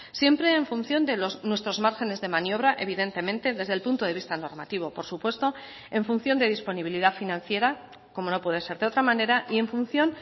siempre en función de nuestros márgenes de maniobra evidentemente desde el punto de vista normativo por supuesto en función de disponibilidad financiera como no puede ser de otra manera y en función